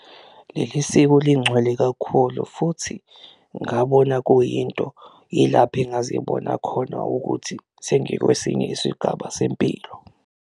Leli siko lincwele kakhulu futhi ngabona kuyinto yilapho engizibona khona ukuthi sengikwesinye isigaba sempilo.